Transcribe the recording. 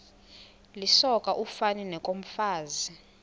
lisoka ufani nokomfazi